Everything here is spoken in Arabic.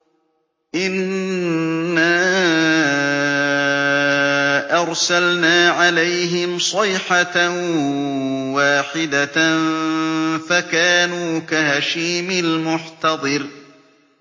إِنَّا أَرْسَلْنَا عَلَيْهِمْ صَيْحَةً وَاحِدَةً فَكَانُوا كَهَشِيمِ الْمُحْتَظِرِ